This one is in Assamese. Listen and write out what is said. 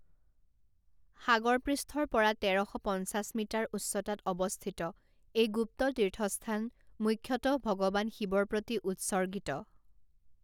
সাগৰ পৃষ্ঠৰ পৰা তেৰ শ পঞ্চাছ মিটাৰ উচ্চতাত অৱস্থিত এই গুপ্ত তীৰ্থস্থান মুখ্যতঃ ভগৱান শিৱৰ প্ৰতি উৎসৰ্গিত।